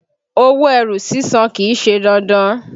Owó ẹrù sísàn kìí ṣe dandan.